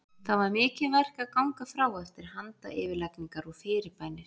Það var mikið verk að ganga frá eftir handayfirlagningar og fyrirbænir.